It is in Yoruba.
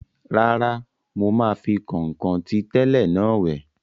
Rárá, mo máa fi kọ̀nkọ̀n ti tẹ́lẹ̀ náà wẹ̀